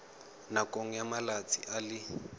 nakong ya malatsi a le